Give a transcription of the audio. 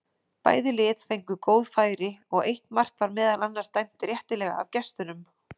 Bæði lið fengu góð færi og eitt mark var meðal annars dæmt réttilega af gestunum.